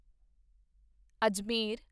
Ajmer